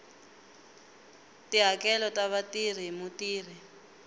tihakelo ta vatirhi hi mutirhi